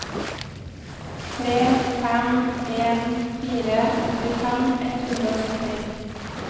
tre fem en fire åttifem ett hundre og sytti